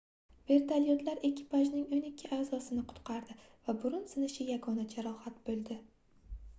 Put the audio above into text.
vertolyotlar ekipajning oʻn ikki aʼzosi qutqardi va burun sinishi yagona jarohat boʻldi